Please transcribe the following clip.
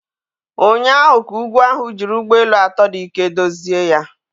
Ụnyaahụ ka ugwu ahụ jiri ụgbọ elu atọ dị ike dozie ya